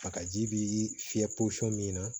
Bakaji bi fiyɛ min na